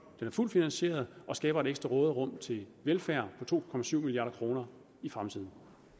er fuldt finansieret og skaber et ekstra råderum til velfærd på to milliard kroner i fremtiden